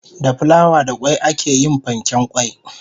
Egg roll is made with flour and egg.